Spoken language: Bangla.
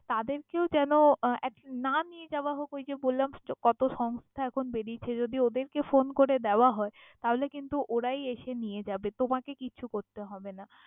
তাদের কেও যেন আহ না নিয়ে যাওয়া হক ওই যে বললাম কত সংস্থা এখন বেরিয়েছে যদি ওদের কে phone করে দেওয়া হয় তাহলে কিন্তু ওরাই এসে নিয়ে যাবে তোমাকে কিছু করতে হবে না।